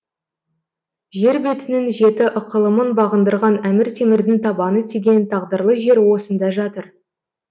жер бетінің жеті ықылымын бағындырған әмір темірдің табаны тиген тағдырлы жері осында жатыр